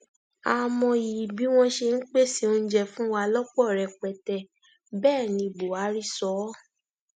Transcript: a mọyì bí wọn ṣe ń pèsè oúnjẹ fún wa lọpọ rẹpẹtẹ bẹẹ ní buhari sọ ọ